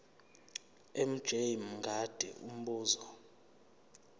mj mngadi umbuzo